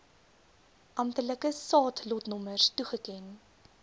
amptelike saadlotnommers toegeken